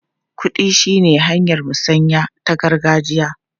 Kuɗi shine hanyar musanya ta gargajiya.